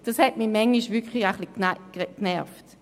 Das hat mich manchmal wirklich etwas genervt.